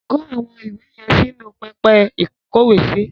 Kó àwọn ìwé yẹn sínu pẹpẹ ìkówèésí.